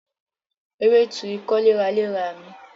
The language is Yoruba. Ewé tu ikọ́ léraléra mi